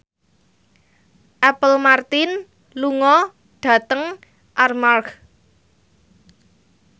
Apple Martin lunga dhateng Armargh